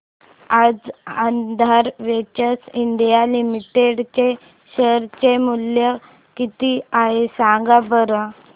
आज Aadhaar ventures India limited चे share चे मूल्य किती आहे सांगा बरं